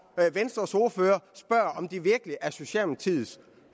venstres ordfører spørger om det virkelig er socialdemokratiets